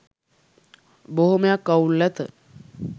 බොහොමයක් අවුල් ඇත